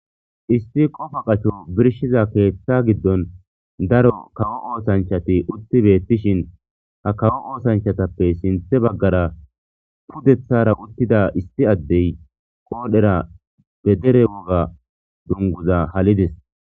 isti qofa qacho birshiza keeththa giddon daro kawo oosanchati utti beettishin ha kawo oosanchatappe sinthe baggara pudethara uttida isti addey qoodhera be dere woga dunguza halides